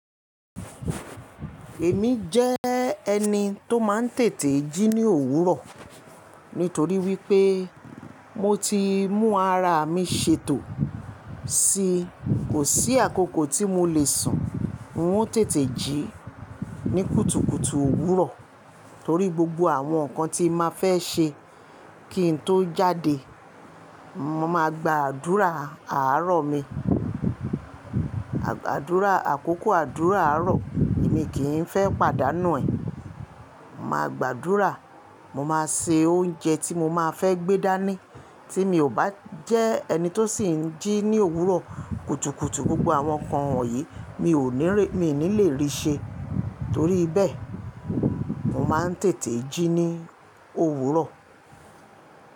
Èmi jẹ́ ẹni tó máa ń tètè jí ní òwúrọ̀ nítorí wípé mo ti mú ara mi ṣètò, sì kò sí àkókò tí mo lè sun, n o tètè jí ní kùtùkùtù òwúrọ̀ torí gbogbo àwọn nǹkan tí n màá fẹ́ ṣe kí n tó jáde, mo màá gba àdúrà àárọ̀ mi, àdúrà, àkókò àdúrà àárọ̀ èmi kì í n fẹ́ pàdánù ẹ̀. Màá gba àdúrà, mo máa se oúnjẹ tí mo máa fẹ́ gbé dání tí mi ò bá jẹ ẹni tó sì ń jí ní òwúrọ̀ kùtùkùtù gbogbo àwọn nǹkan wọ̀nyí mi ò ní lè rí ṣẹ. Torí bẹ́ẹ̀, mo máa ń tètè jí ní òwúrọ̀.